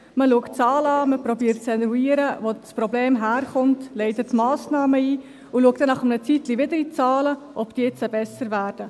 Man schaut sich die Zahlen an, man versucht zu eruieren, woher das Problem kommt, leitet Massnahmen ein und schaut nach einer Weile, ob die Zahlen besser werden.